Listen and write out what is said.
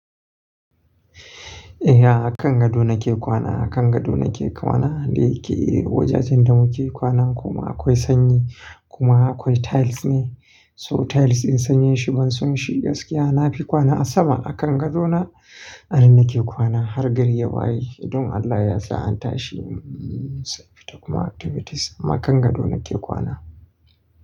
Eh, a kan gado nake kwana. A kan gado nake kwana. Dai ke, wajajen da muke kwana kuma akwai sanyi kuma akwai tiles ne. So tiles in sanyeshi bansun shi gaskiya nafi kwana a sama. A kan gadona, anann nake kwana har gari ya waye. Idan Allah ya sa an tashi, sai fita kuma activities. Amma kan gado nake kwana.